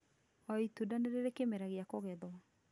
O,itunda nĩ rĩrĩ kĩmera gĩa kũgethwo